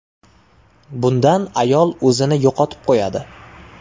Bundan ayol o‘zini yo‘qotib qo‘yadi.